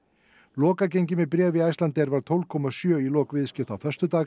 lokagengi með bréf í Icelandair var tólf komma sjö í lok viðskipta á föstudag